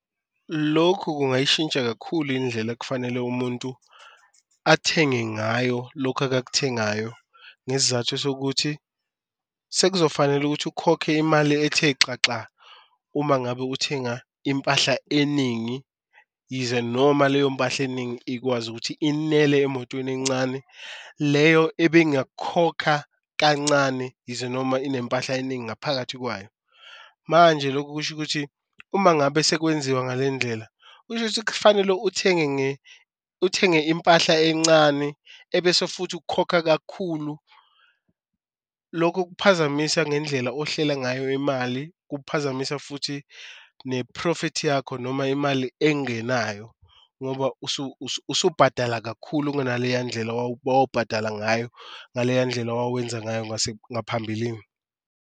Lokhu kungayishintsha kakhulu indlela ekufanele umuntu athenge ngayo lokhu akakuthengayo ngesizathu sokuthi sekuzofanele ukuthi ukhokhe imali ethe xaxa. Uma ngabe uthenga impahla eningi yize noma leyo mpahla eningi ikwazi ukuthi inele emotweni encane leyo ebingakhokha kancane, yize noma inempahla eningi ngaphakathi kwayo. Manje lokho kusho ukuthi uma ngabe sekwenziwa ngale ndlela, kusho ukuthi kufanele uthenge uthenge impahla encane ebese futhi ukukhokha kakhulu. Lokhu okuphazamisa ngendlela ohleli ngayo imali, kuphazamisa futhi nephrofithi yakho noma imali engenayo ngoba usubhadala kakhulu kuna leya ndlela owawubhadala ngayo, ngaleya ndlela owawenza ngayo ngaphambilini.